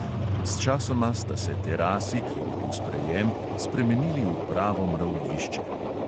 Sčasoma sta se terasi, kjer je bil sprejem, spremenili v pravo mravljišče.